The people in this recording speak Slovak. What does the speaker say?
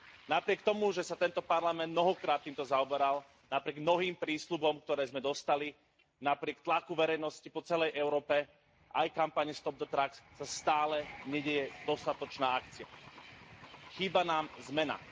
Napriek tomu, že sa tento Parlament mnohokrát týmto zaoberal, napriek nový prísľubom, ktoré sme dostali, napriek tlaku verejnosti po celej Európe, aj kampani sa stále nedeje dostatočná akcia. Chýba nám zmena.